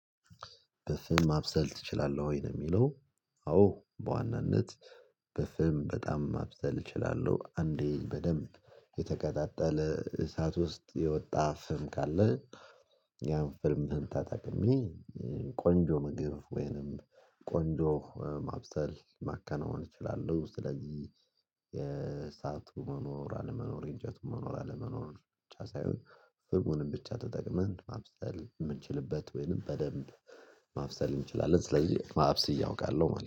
በፍም ማብሰል እችላለሁ ወይ ነው የሚለው? አዎ በዋናነት በፍም በጣም ማብሰል እችላለሁ አንዴ በደንብ የተቀጣጠለ እሳት ውስጥ የወጣ ፍም ካለ። ያን ፍምህን ተጠቅሜ ቆንጆ ምግብ ወይንም ቆንጆ ማብሰል ማከናወን ይችላሉ። ስለዚህ የእሳቱ መኖር አለመኖር የእንጀቱ መኖር አለመኖር ብቻ ሳይሆን ፍህሙንን ብቻ ተጠቅመን ማብሰል የምንችልበት ወይንም በደንብ ማብሰል እንችላለን። ስለዚህ ማብሰል እያውቃለሁ ማለት ነው